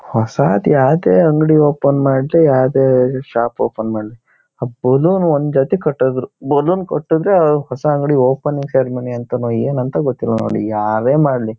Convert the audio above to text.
ಹೊಸಾದ್ ಯಾವದೇ ಅಂಗಡಿ ಓಪನ್ ಮಾಡ್ಲಿ ಯಾವದೇ ಶಾಪ್ ಮಾಡ್ಲಿ ಆ ಬಲೂನ್ ಒಂದ್ ಜಾತಿ ಕಟ್ಟುದ್ರು ಬಲೂನ್ ಕಟ್ಟುದ್ರೆ ಆ ಹೊಸ ಅಂಗಡಿ ಓಪನಿಂಗ್ ಸೆರೆಮನಿ ಅಂತಾನೋ ಏನೋ ಅಂತ ಗೊತ್ತಿಲ್ಲ ನೋಡ್ ಯಾವೇ ಮಾಡ್ಲಿ.